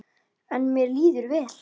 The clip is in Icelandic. En mér líður vel.